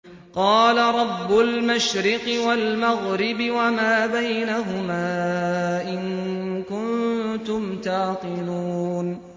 قَالَ رَبُّ الْمَشْرِقِ وَالْمَغْرِبِ وَمَا بَيْنَهُمَا ۖ إِن كُنتُمْ تَعْقِلُونَ